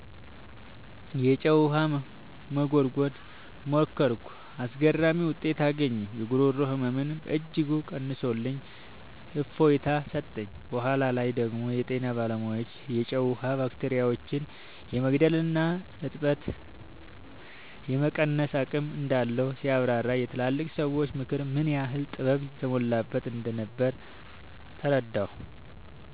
የጨው ውሃ መጉርጎርን ሞከርኩ። አስገራሚ ውጤት አገኘሁ! የጉሮሮ ህመሜን በእጅጉ ቀንሶልኝ እፎይታ ሰጠኝ። በኋላ ላይ ደግሞ የጤና ባለሙያዎች የጨው ውሃ ባክቴሪያዎችን የመግደልና እብጠትን የመቀነስ አቅም እንዳለው ሲያብራሩ፣ የትላልቅ ሰዎች ምክር ምን ያህል ጥበብ የተሞላበት እንደነበር ተረዳሁ።